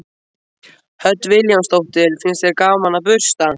Hödd Vilhjálmsdóttir: Finnst þér gaman að bursta?